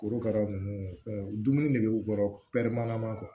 Korokara nunnu fɛn dumuni ne be u kɔrɔ kuwa